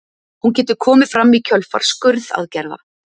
hún getur komið fram í kjölfar skurðaðgerða